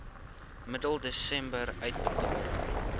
middel desember uitbetaal